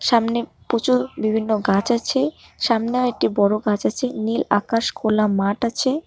সামনে প্রচুর বিভিন্ন গাছ আছে সামনে আরেকটি বড়ো গাছ আছে নীল আকাশ খোলা মাঠ আছে।